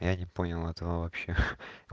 я не понял этого вообще